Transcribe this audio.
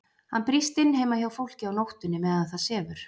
Hann brýst inn heima hjá fólki á nóttunni meðan það sefur.